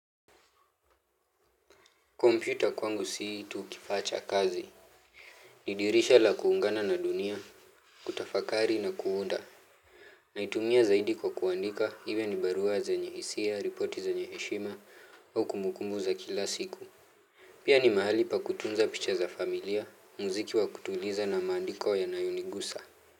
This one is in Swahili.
Kompyuta kwangu si tu kifaa cha kazi, ni dirisha la kuungana na dunia, kutafakari na kuunda, naitumia zaidi kwa kuandika, iwe ni barua zenye hisia, ripoti zenye heshima, au kumukumbu za kila siku. Pia ni mahali pa kutunza picha za familia, muziki wa kutuliza na maandiko yanayonigusa.